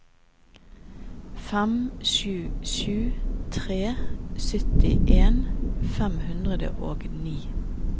fem sju sju tre syttien fem hundre og ni